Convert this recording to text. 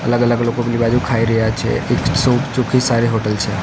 અલગ અલગ લોકો પેલી બાજુ ખાઈ રહ્યા છે ચોખ્ખી સારી હોટલ છે.